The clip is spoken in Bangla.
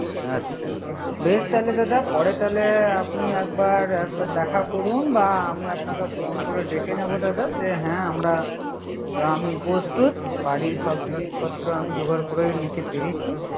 আচ্ছা বেশ তাহলে দাদা, পরে আপনি একবার দেখা করুন বা আমি আপনি আপনাকে ফোন করে ডেকে নিব। দাদা যে হ্যা আমরা আমি প্রস্তুত বাড়ির সব জিনিসপত্র আমি যোগাড় করে নিতে পেরেছি।